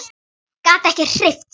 Gat ekki hreyft sig.